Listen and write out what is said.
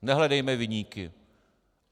Nehledejme viníky.